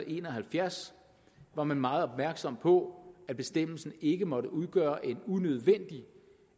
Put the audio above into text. en og halvfjerds var man meget opmærksom på at bestemmelsen ikke måtte udgøre en unødvendig